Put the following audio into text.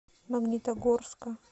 магнитогорска